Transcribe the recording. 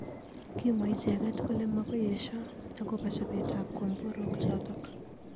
Kimwa icheket kole makoi esho akobo chobet ab komborok chotok.